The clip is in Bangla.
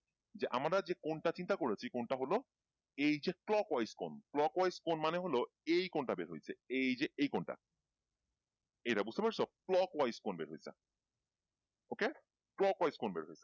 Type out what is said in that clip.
যে আমরা যে কোণটা চিন্তা করেছি কোণটা হলো এইযে clockwise কোণ clockwise কোণ মানে হল এই কোণটা বের হয়েছে এই যে এই কোণটা এইটা বুঝতে পারছ? clockwise কোণ বের হয়েছে OK? clockwise কোণ বের হয়েছে।